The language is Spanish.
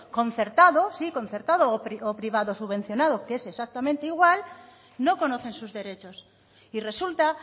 concertado sí concertado o privado subvencionado que es exactamente igual no conocen sus derechos y resulta